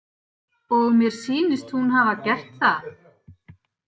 Og mér sýnist hún hafa gert það.